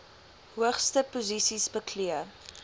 hoogste posisies beklee